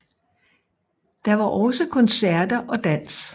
Der var også koncerter og dans